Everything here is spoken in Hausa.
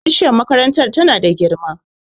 bishiyar makarantar tana da girma